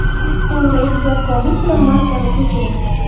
So‘ngra ehtiyotkorlik bilan markani ko‘chiring.